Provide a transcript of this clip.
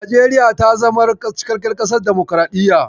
Najeriya ta zamar cikakkiyar ƙasar damukuraɗiyya.